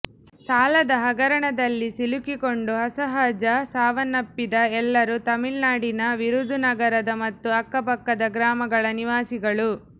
ಸಾಲದ ಹಗರಣದಲ್ಲಿ ಸಿಲುಕಿಕೊಂಡು ಅಸಹಜ ಸಾವನ್ನಪ್ಪಿದ ಎಲ್ಲರು ತಮಿಳುನಾಡಿನ ವಿರುಧುನಗರದ ಮತ್ತು ಅಕ್ಕಪಕ್ಕದ ಗ್ರಾಮಗಳ ನಿವಾಸಿಗಳು